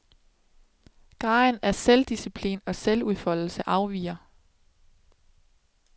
Graden af selvdisciplin og selvudfoldelse afviger.